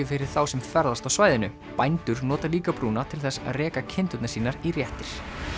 fyrir þá sem ferðast á svæðinu bændur nota líka brúna til þess að reka kindurnar sínar í réttir